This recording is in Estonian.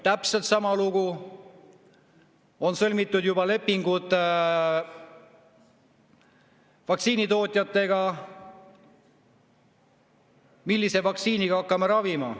Täpselt sama lugu: on juba sõlmitud lepingud vaktsiinitootjatega, millise vaktsiiniga hakkame ravima.